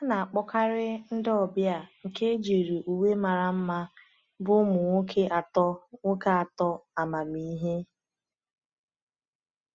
A na-akpọkarị ndị ọbịa nke ejiri uwe mara mma bụ ụmụ nwoke atọ nwoke atọ amamihe.